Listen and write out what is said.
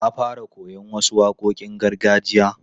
Na fara koyon wasu waƙoƙin gargajiya.